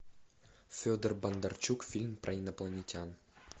федор бондарчук фильм про инопланетян